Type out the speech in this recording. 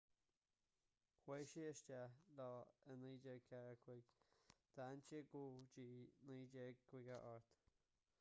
chuaigh sé isteach leo i 1945 agus d'fhan sé go dtí 1958